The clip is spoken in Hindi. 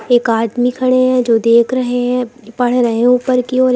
एक आदमी खड़े है जो देख रहे है पढ़ रहे ऊपर की ओर --